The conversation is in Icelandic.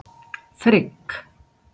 Frigg